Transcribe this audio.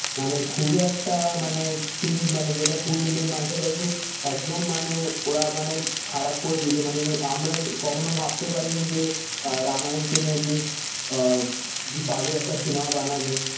মানে খুবই একটা মানে cringe মানে যেটা ইন্ডিয়ান মিথোলজির একদম মানে ওড়া মানে খারাপ করে দিয়েছে মানে আমরাই কখনো ভাবতে পাড়ি নি যে রামাযান কে নিয়ে এমনি আহ বাজে একটা সিনেমা বানাবে